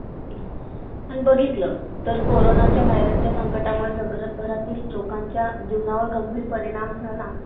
Okay sir शेंद्राजवळ आहे का हे address? आणि त्याच्यात अं मागे-पुढं असलं दुसरीकडं job तर ते पण सांगा मंग sir. कसंय sir माझं graduation पूर्ण सगळं झालेलं आहे.